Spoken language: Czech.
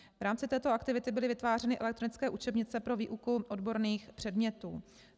V rámci této aktivity byly vytvářeny elektronické učebnice pro výuku odborných předmětů.